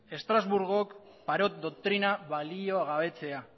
estrasburgok parot doktrina baliogabetzea